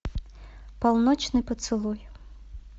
полночный поцелуй